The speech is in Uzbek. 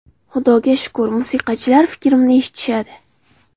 Xudoga shukur musiqachilar fikrimni eshitishadi.